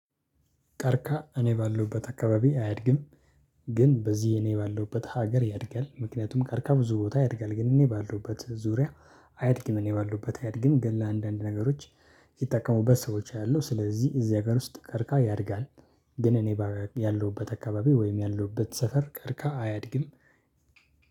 ቀርቀሃ እኔ ባለውበት አካባቢ አያድግም። ግን በዚህ እኔ ባለውበት ሀገር ያድጋል ምክንያቱም ቀርቀሃ ብዙ ቦታ ያድጋል ግን እኔ ባለውበት ዙሪያ። አያድግም እኔ ባለውበት አያድግም ለአንዳንድ ነገሮች። ይጠቀሙበት ሰዎች አሉ ስለዚህ እዚህ ጋር ውስጥ ቀርቀሃ ያድጋል። ግን እኔ ያለሁበት አካባቢ ወይም ያለሁበት ሰፈር ቀርቀሃ አያድግም።